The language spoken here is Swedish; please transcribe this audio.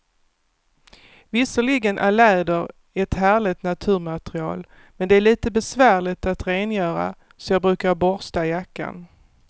Visserligen är läder ett härligt naturmaterial, men det är lite besvärligt att rengöra, så jag brukar borsta jackan.